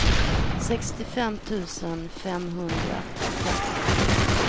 sextiofem tusen femhundrafemtiofyra